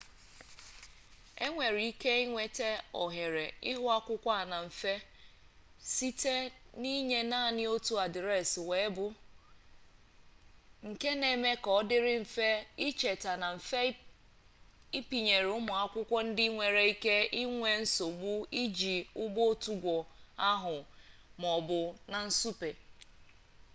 e nwere ike inweta ohere ihuakwụkwọ a na mfe site n'inye naanị otu adreesị weebụ nke na-eme ka ọ dịrị mfe icheta na mfe ịpịnyere ụmụ akwụkwọ ndị nwere ike inwe nsogbu iji ụgbọọtụgwo ahụ ma ọ bụ na nsụpe